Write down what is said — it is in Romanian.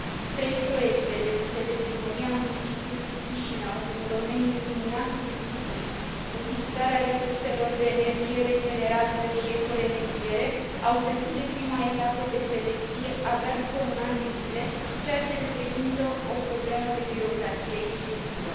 Trei proiecte depuse de primăria municipiului Chișinău în domeniul iluminatului public, utilizarea resurselor de energie regenerabilă și ecoremediere au trecut de prima etapă de selecție abia după un an de zile, ceea ce reprezintă o problemă de birocrație excesivă.